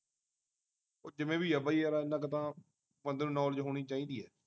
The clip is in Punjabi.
ਉਹ ਜਿਵੇਂ ਵੀ ਆ ਬਈ ਯਾਰ ਇਨ੍ਹਾਂ ਕਿ ਤਾਂ ਬੰਦੇ ਨੂੰ knowledge ਹੋਣੀ ਚਾਹੀਦੀ ਏ